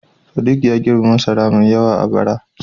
Sadiq ya girbi masara mai yawa a bara.